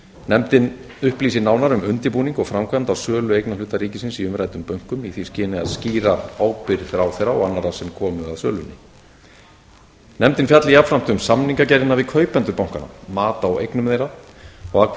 nefndin upplýsi nánar um undirbúning og framkvæmd á sölu eignarhluta ríkisins í umræddum bönkum í því skyni að skýra ábyrgð ráðherra og annarra sem komu að sölunni nefndin fjalli jafnframt um samningagerðina við kaupendur bankanna mat á eignum þeirra og að hve